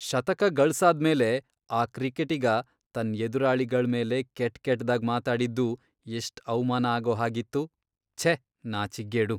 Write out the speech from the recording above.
ಶತಕ ಗಳ್ಸಾದ್ಮೇಲೆ ಆ ಕ್ರಿಕೆಟಿಗ ತನ್ ಎದುರಾಳಿಗಳ್ಮೇಲೆ ಕೆಟ್ಕೆಟ್ದಾಗ್ ಮಾತಾಡಿದ್ದು ಎಷ್ಟ್ ಅವ್ಮಾನ ಆಗೋ ಹಾಗಿತ್ತು, ಛೆ ನಾಚಿಕ್ಗೇಡು.